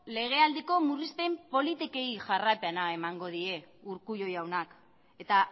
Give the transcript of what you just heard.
legealdiko murrizpen politikei jarraipena emango die urkullu jaunak eta